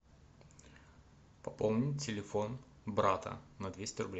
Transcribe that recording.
пополнить телефон брата на двести рублей